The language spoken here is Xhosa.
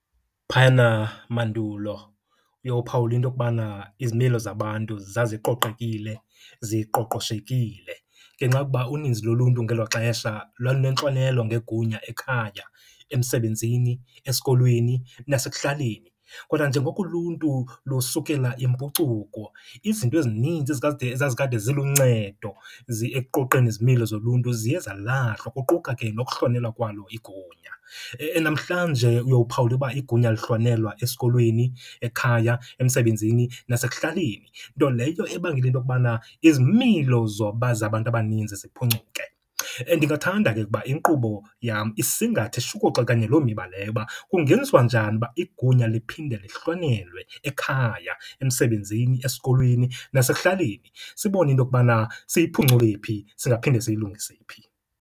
Phayana mandulo uyophawula into okubana izimilo zabantu zaziqoqekile, ziqoqoshekile. Ngenxa yokuba uninzi loluntu ngelo xesha lwalunentlonelo ngegunya ekhaya, emsebenzini, esikolweni nasekuhlaleni. Kodwa njengoko uluntu lusukela impucuko, izinto ezininzi ezazikade ziluncedo ekuqoqeni izimilo zoluntu ziye zalahlwa, kuquka ke nokuhlonelwa kwalo igunya. Namhlanje uyowuphawula uba igunya alihlonelwa esikolweni, ekhaya, emsebenzini nasekuhlaleni, nto leyo ebangela into okubana izimilo zabantu abaninzi ziphuncuke. Ndingathanda ke ukuba inkqubo yam isingathe, ishukuxe kanye loo miba leyo uba kungenziwa njani uba igunya liphinde lihlonelwe ekhaya, emsebenzini, esikolweni nasekuhlaleni. Sibone into okubana siyiphuncule phi, singaphinde siyilungise phi.